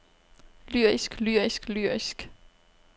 lyrisk lyrisk lyrisk